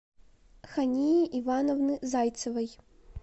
хании ивановны зайцевой